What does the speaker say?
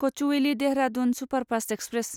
Kochuveli Dehradun superfast express